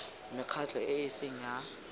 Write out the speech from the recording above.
mekgatlho e e seng ya